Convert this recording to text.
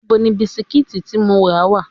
Ibo ni bisikíìtì tí mo rà wà?